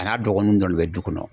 A n'a dɔgɔninw kɔni bɛ du kɔnɔ.